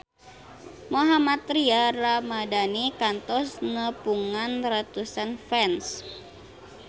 Mohammad Tria Ramadhani kantos nepungan ratusan fans